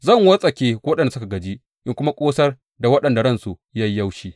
Zan wartsake waɗanda suka gaji in kuma ƙosar da waɗanda ransu ya yi yaushi.